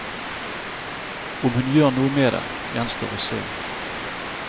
Om hun gjør noe med det, gjenstår å se.